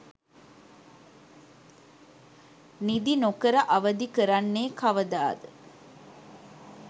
නිදි නොකර අවදි කරන්නේ කවදාද?